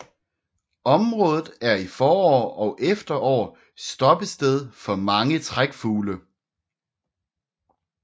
Området er i forår og efterår stoppested for mange trækfugle